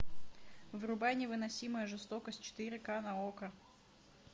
врубай невыносимая жестокость четыре ка на окко